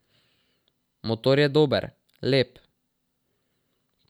Motor je dober, lep.